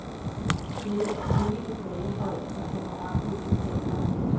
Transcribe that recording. Dette er ikke tilbageholdt af honorarudbetaleren.